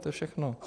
To je všechno.